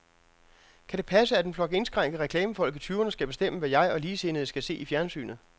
Kan det passe, at en flok indskrænkede reklamefolk i tyverne skal bestemme, hvad jeg og ligesindede skal se i fjernsynet.